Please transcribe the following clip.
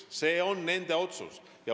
See on nende otsus.